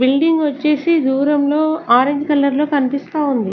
Building వచ్చేసి దూరంలో orange colour లో కనిపిస్తా ఉంది.